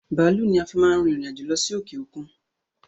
Bàálú ni a fi máa ń rìn ìrìn-àjò lọ sí òkè okun